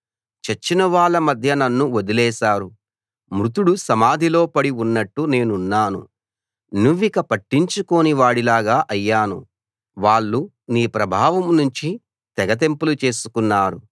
చచ్చినవాళ్ళ మధ్య నన్ను వదిలేశారు మృతుడు సమాధిలో పడి ఉన్నట్టు నేనున్నాను నువ్విక పట్టించుకోని వాడిలాగా అయ్యాను వాళ్ళు నీ ప్రభావం నుంచి తెగతెంపులు చేసుకున్నారు